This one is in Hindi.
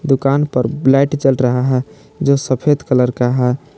दुकान पर ब्लैट चल रहा है जो सफेद कलर का है।